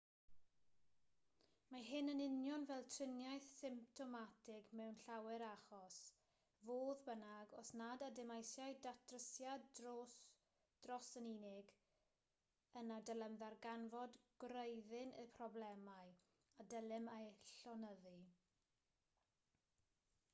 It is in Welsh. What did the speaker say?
mae hyn yn union fel triniaeth symptomatig mewn llawer achos fodd bynnag os nad ydym eisiau datrysiad dros dro yn unig yna dylem ddarganfod gwreiddyn y problemau a dylem eu llonyddu